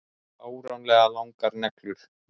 Fáránlega langar neglur.